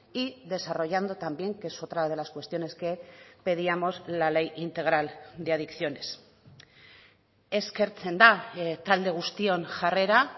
y desarrollando también que es otra de las cuestiones que pedíamos la ley integral de adicciones eskertzen da talde guztion jarrera